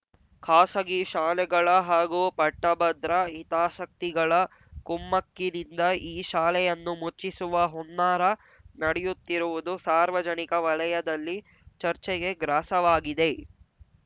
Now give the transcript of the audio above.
ಖಾಸಗಿ ಶಾಲೆಗಳ ಹಾಗೂ ಪಟ್ಟಭದ್ರ ಹಿತಾಸಕ್ತಿಗಳ ಕುಮ್ಮಕ್ಕಿನಿಂದ ಈ ಶಾಲೆಯನ್ನು ಮುಚ್ಚಿಸುವ ಹುನ್ನಾರ ನಡೆಯುತ್ತಿರುವುದು ಸಾರ್ವಜನಿಕ ವಲಯದಲ್ಲಿ ಚರ್ಚೆಗೆ ಗ್ರಾಸವಾಗಿದೆ